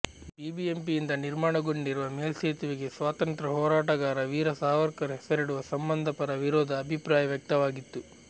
ಬಿಬಿಎಂಪಿಯಿಂದ ನಿರ್ಮಾಣಗೊಂಡಿರುವ ಮೇಲ್ಸೇತುವೆಗೆ ಸ್ವಾತಂತ್ರ್ಯ ಹೋರಾಟಗಾರ ವೀರ ಸಾವರ್ಕರ್ ಹೆಸರಿಡುವ ಸಂಬಂಧ ಪರ ವಿರೋಧ ಅಭಿಪ್ರಾಯ ವ್ಯಕ್ತವಾಗಿತ್ತು